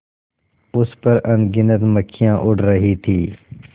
उस पर अनगिनत मक्खियाँ उड़ रही थीं